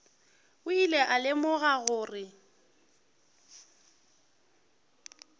o ile a lemoga gore